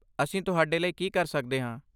ਅਸੀਂ ਤੁਹਾਡੇ ਲਈ ਕੀ ਕਰ ਸਕਦੇ ਹਾਂ?